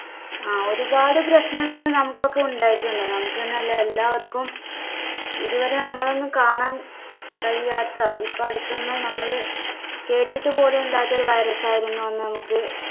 ആ ഒരുപാട് പ്രശ്നങ്ങളും നമുക്കൊക്കെ ഉണ്ടായിട്ടുണ്ട് നമുക്ക് എന്നല്ല എല്ലാവർക്കും ഇതുവരെ നമ്മൾ ഒന്നും കാണാൻ കഴിയാത്ത ഇപ്പ അടുത്തൊന്നും നമ്മള് കേട്ടിട്ടുപോലുമില്ലാത്ത ഒരു virus ആയിരുന്നു അന്ന് നമുക്ക്